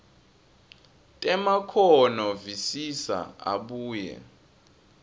temakhono visisa abuye